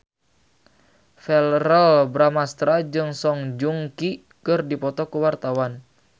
Verrell Bramastra jeung Song Joong Ki keur dipoto ku wartawan